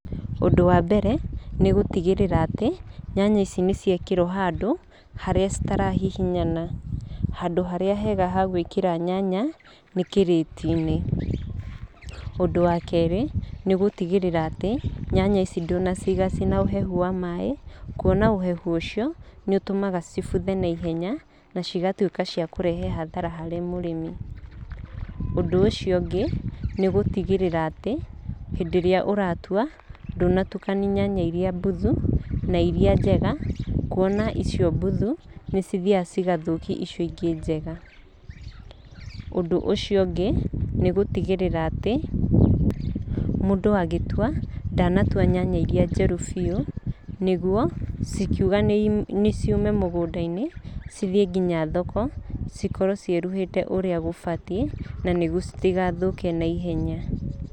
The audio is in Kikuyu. Ũndũ wa mbere nĩ gũtigĩrĩra atĩ nyanya ici nĩ ciekĩrwo handũ harĩa citarahihinyana. Handũ harĩa hega ha gwĩkĩra nyanya nĩ kĩrĩti-inĩ. Ũndũ wa kerĩ, nĩ gũtigĩrĩra atĩ nyanya ici ndũnaciiga cina ũhehu wa maĩ. Kuona ũhehu ũcio nĩ ũtũmaga cibuthe naihenya na cigatuĩka cia kũrehe hathara harĩ mũrĩmi. Ũndũ ũcio ũngĩ, nĩ gũtigĩrĩra atĩ hĩndĩ ĩrĩa ũratua, ndũnatukania nyanya mbuthu na irĩa njega. Kuona icio mbuthu nĩ cithiaga cigathũkia icio ingĩ njega. Ũndũ ũcio ũngĩ, nĩ gũtigĩrĩra atĩ mũndũ agĩtua ndanatua nyanya irĩa njĩru biũ, nĩguo cikiuga nĩ ciume mũgũnda-inĩ cithiĩ nginya thoko, cikorwo ciĩruĩte ũrĩa gũbatiĩ, na nĩguo citigathũke naihenya.